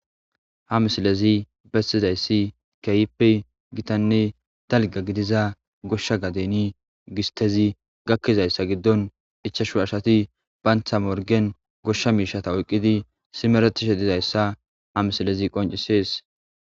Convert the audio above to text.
Ha missilezi besizayssi kehippe gitanne dalga gigida goshsha bita gisttezi gakizayssa giddon ichashu asati gosha misha oykidi simeretishe dizayssa ha missilezi qonccises.